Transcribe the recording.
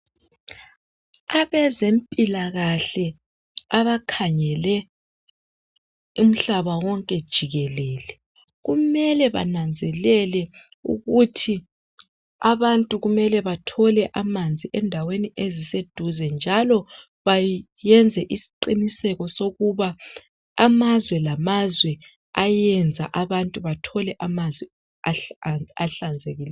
Abezempilakahle abakhangele umhlaba wonke jikelele kumele bananzelele ukuthi abantu kumele bathole amanzi endaweni eziseduze njalo bayenze isiqiniseko sokuba amazwe lamazwe ayenza abantu bathole amanzi ahlanzekileyo.